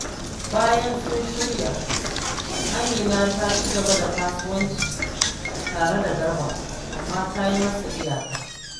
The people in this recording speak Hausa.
Bayan sun shirya, Amina ta ci gaba da kasuwanci tare da Garba, amma ta yi masa iyaka